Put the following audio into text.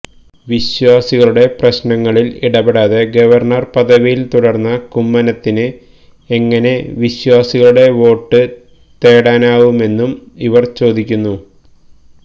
വിശ്വാസികളുടെ പ്രശ്നങ്ങളില് ഇടപെടാതെ ഗവര്ണര് പദവിയില് തുടര്ന്ന കുമ്മനത്തിന് എങ്ങനെ വിശ്വാസികളുടെ വോട്ട് തേടാനാവുമെന്നും ഇവര് ചോദിക്കുന്നു